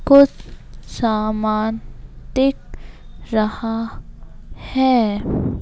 कुछ सामान दिख रहा है।